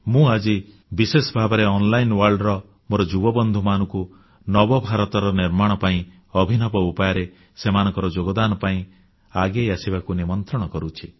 ମୁଁ ଆଜି ବିଶେଷ ଭାବରେ ଅନଲାଇନ ଜଗତର ମୋର ଯୁବବନ୍ଧୁମାନଙ୍କୁ ନବ ଭାରତର ନିର୍ମାଣ କରିବା ପାଇଁ ଅଭିନବ ଉପାୟରେ ସେମାନଙ୍କ ଯୋଗଦାନ ପାଇଁ ଆଗେଇ ଆସିବାକୁ ନିମନ୍ତ୍ରଣ କରୁଛି